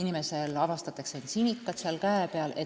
inimesel avastatakse käe peal sinikad.